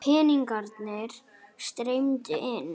Peningarnir streymdu inn.